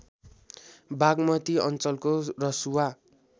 बाग्मती अञ्चलको रसुवा